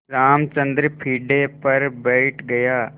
रामचंद्र पीढ़े पर बैठ गया